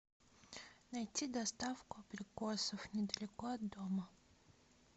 найти доставку абрикосов недалеко от дома